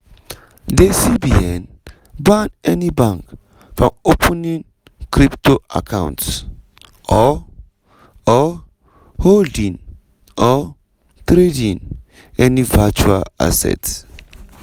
di cbn ban any bank from opening crypto accounts or or holding or trading any virtual asset.